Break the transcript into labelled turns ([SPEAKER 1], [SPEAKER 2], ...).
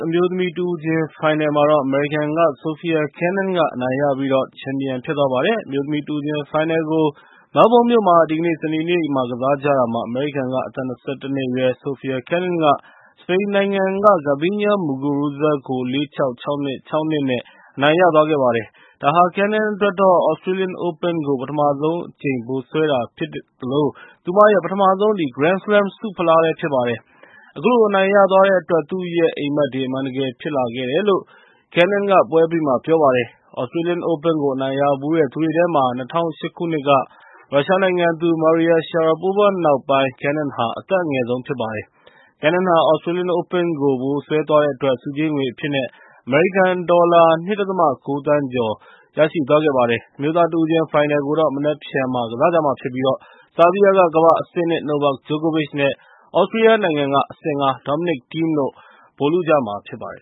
[SPEAKER 1] အမျိုးသမီး တဦးချင်းပြိုင်ပွဲမှာတော့ အမေရိကန်က Sofia Kenin က အနိုင်ရပြီး ချန်ပီယံဖြစ်သွားပါတယ်။ အမျိုးသမီး တဦးချင်းဖိုင်နယ်ကို မဲလ်ဘုန်းမြို့မှာ ဒီကနေ့ စနေနေ့က ကစားကြတာမှာ အမေရိကန်က အသက် ၂၁ အရွယ် Sofia Kenin က စပိန်နိုင်ငံသား Garbine Muguruza ကို ၄-၆၊ ၆-၂၊ ၆-၂ နဲ့ အနိုင်ရသွားပါတယ်။ ဒါဟာ Kenin အတွက်တော့ သြစတြေးလျအိုးပင်းကို ပထမဆုံးအကြိမ် ဗိုလ်စွဲတာဖြစ်တဲ့အပြင် သူမရဲ့ ပထမဆုံး ဂရန်းစလမ်းဆုဖလားလည်း ဖြစ်ပါတယ်။ အခုလို အနိုင်ရသွားတဲ့အတွက် သူ့ရဲ့အိပ်မက်တွေ အမှန်တကယ် ဖြစ်လာခဲ့တယ်လို့ Kenin က ပွဲအပြီးမှာ ပြောပါတယ်။ သြစတြေးလျအိုးပင်းကို အနိုင်ရဖူးတဲ့သူတွေထဲမှာ ၂၀၀၈ ခုနှစ်က ရုရှားနိုင်ငံသူ Maria Sharapova နောက်ပိုင်း Kenin ဟာ အသက်အငယ်ဆုံး ဖြစ်ပါတယ်။ Kenin ဟာ သြစတြေးလျအိုးပင်းကို ဗိုလ်စွဲသွားတဲ့အတွက် ဆုကြေးငွေအဖြစ်နဲ့ အမေရိကန်ဒေါ်လာ ၂.၉ သန်းကျော် ရသွားခဲ့ပါတယ်။ အမျိုးသားတဦးချင်း ဖိုင်နယ်ကိုတော့ မနက်ဖြန်မှာ ကစားကြမှာဖြစ်ပြီး ဆားဘီးယားက ကမ္ဘာ့အဆင့် ၂ Novak Djokovic နဲ့ သြစတြီးယားနိုင်ငံက အဆင့် ၅ Dominic Thiem တို့ ဗိုလ်လုကြမှာဖြစ်
[SPEAKER 2] ပါတယ်